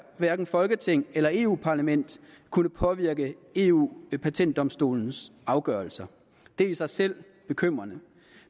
hverken folketing eller eu parlament kunne påvirke eu patentdomstolens afgørelser det i sig selv er bekymrende